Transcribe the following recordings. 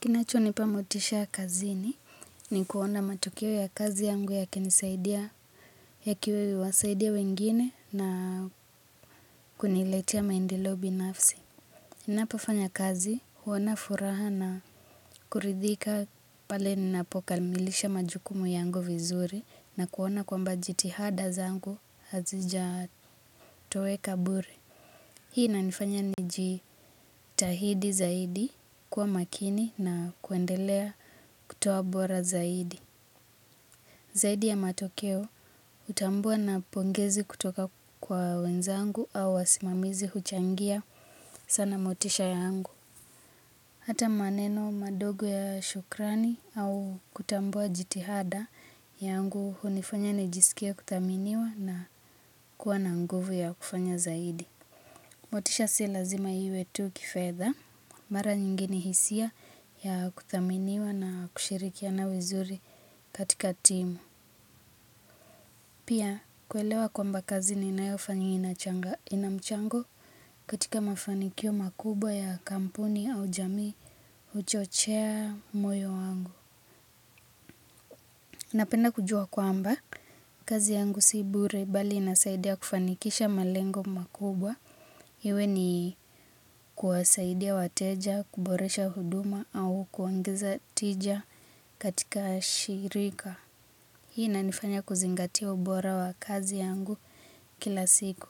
Kinachoni pa motisha kazini ni kuona matukio ya kazi yangu ya kinisaidia ya kiwa wasaidia wengine na kuniletea maendeleo binafsi. ninapo fanya kazi huona furaha na kuridhika pale ninapokamilisha majukumu yangu vizuri na kuona kwamba jitihada zangu hazija towe kabure. Hii nanifanya ni jitahidi zaidi kwa makini na kuendelea kutoa bora zaidi. Zaidi ya matokeo hutambua na pongezi kutoka kwa wenzangu au wasimamizi huchangia sana motisha yangu. Hata maneno madogo ya shukrani au kutambua jitihada yangu hunifanya ni jisikie kuthaminiwa na kuwa na nguvu ya kufanya zaidi. Motisha si lazima iwe tu kifedha mara nyingi ni hisia ya kuthaminiwa na kushirikiana vizuri katika timu. Pia, kuelewa kwamba kazi ninayo fanya inamchango katika mafanikio makubwa ya kampuni au jamii huchochea moyo wangu. Napenda kujua kwamba, kazi yangu si bure bali inasaidia kufanikisha malengo makubwa iwe ni kuwasaidia wateja, kuboresha huduma au kuongeza tija katika shirika hii inanifanya kuzingatia ubora wa kazi yangu kila siku.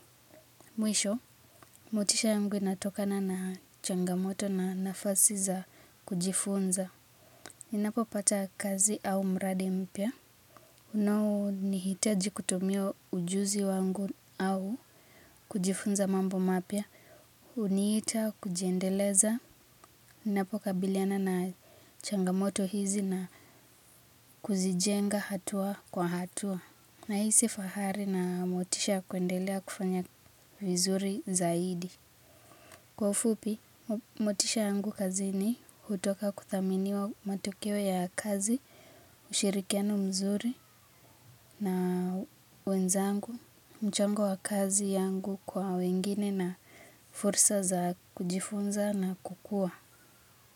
Ninapo pata kazi au mradi mpya unao nihitaji kutumia ujuzi wangu au kujifunza mambo mapya. hUniita kujiendeleza. Ninapoka biliana na changamoto hizi na kuzijenga hatua kwa hatua. Na hisi fahari na motisha ya kuendelea kufanya vizuri zaidi. Kwa ufupi, motisha yangu kazini hutoka kuthaminiwa matokeo ya kazi. Ushirikiano mzuri na wenzangu mchango wa kazi yangu kwa wengine na fursa za kujifunza na kukua.